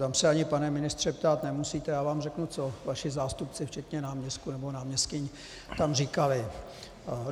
Tam se ani, pane ministře, ptát nemusíte - já vám řeknu, co vaši zástupci včetně náměstků nebo náměstkyň tam říkali.